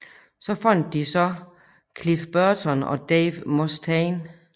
Så fandt de så Cliff Burton og Dave Mustaine